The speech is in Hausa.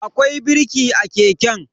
Akwai birki a keken.